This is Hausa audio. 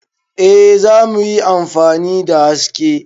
Eh za mu yi amfani da haske.